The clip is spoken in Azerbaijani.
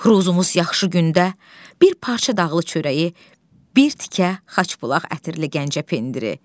Ruzumuz yaxşı gündə bir parça dağlı çörəyi, bir tikə xaş bulaq ətirli Gəncə pendiri.